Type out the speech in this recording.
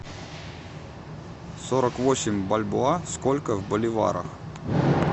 сорок восемь бальбоа сколько в боливарах